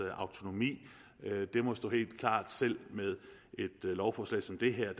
autonomi det må stå helt klart selv med et lovforslag som det her